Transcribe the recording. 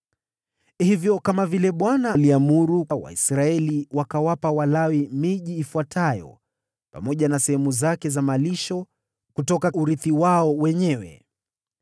Hivyo kama vile Bwana alivyoamuru, Waisraeli wakawapa Walawi miji ifuatayo pamoja na sehemu zake za malisho kutoka urithi wao wenyewe.